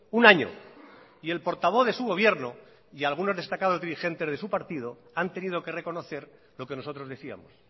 un año y el portavoz de su gobierno y algunos destacados dirigentes de su partido han tenido que reconocer lo que nosotros decíamos